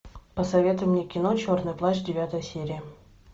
посоветуй мне кино черный плащ девятая серия